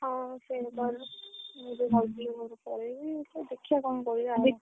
ହଁ ସେ ତୋର ମୁଁ ବି ଭାବୁଥିଲି ଘରୁ ପଳେଇବି ଦେଖିଆ କଣ କରିବା ଆଉ?